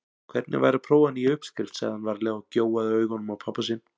Hvernig væri að prófa nýja uppskrift sagði hann varlega og gjóaði augunum á pabba sinn.